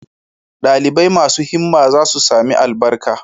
Dalibai masu himma za su sami albarka